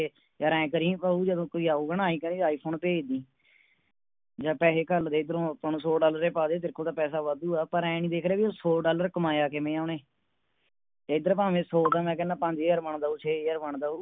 ਯਾਰ ਆਏਂ ਕਰੀਂ ਭਾਉ ਜਦੋ ਕੋਈ ਆਊਗਾ ਨਾ ਆਏਂ ਕਰਿ iphone ਭੇਜ ਦੀ ਜਾ ਪੈਹੇ ਘਲਦੇ ਐਧਰੋ ਅੱਪਾ ਨੂੰ ਸੌ Dollar ਹੀ ਪਾ ਦੇ ਤੇਰੇ ਕੋਲ ਤਾ ਪੈਸਾ ਵਾਧੂ ਏ ਪਰ ਏ ਨੀ ਦੇਖਦਾ ਵੀ ਉਹ ਸੌ Dollar ਕਮਾਇਆ ਕਿਵੇਂ ਆ ਉਹਨੇ ਏਧਰ ਭਾਵੇ ਸੌ ਦਾ ਮੈਂ ਕਹਿੰਦਾ ਪੰਜ ਹਜ਼ਾਰ ਬਣਦਾ ਹੋਊ ਛੇ ਹਜ਼ਾਰ ਬਣਦਾ ਹੋਉ